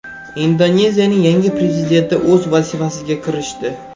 Indoneziyaning yangi prezidenti o‘z vazifasiga kirishdi.